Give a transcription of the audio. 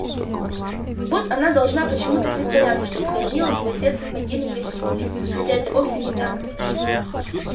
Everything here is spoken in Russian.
вот она должна почему-то притворяться что схоронила своё сердце в могиле вместе с мужем хотя это вовсе не так